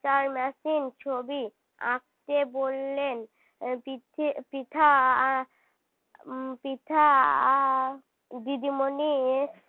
mixer machine ছবি আঁকতে বললেন পৃথী পৃথা আহ পৃথা আহ দিদিমণি এরা